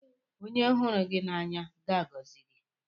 Onye hụrụ gị n'anya ga-agọzi gị.